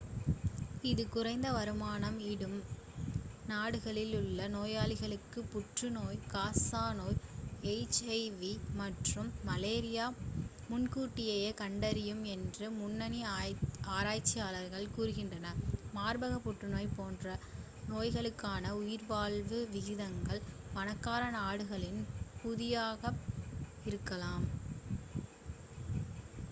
இது குறைந்த வருமானம் ஈட்டும் நாடுகளில் உள்ள நோயாளிகளுக்கு புற்றுநோய் காசநோய் எச்.ஐ.வி மற்றும் மலேரியாவை முன்கூட்டியே கண்டறியும் என்று முன்னணி ஆராய்ச்சியாளர்கள் கூறுகின்றனர் மார்பக புற்றுநோய் போன்ற நோய்களுக்கான உயிர்வாழ்வு விகிதங்கள் பணக்கார நாடுகளில் பாதியாக இருக்கலாம்